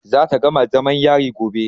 Za ta gama zamam yari gobe.